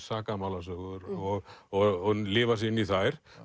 sakamálasögur og og lifa sig inn í þær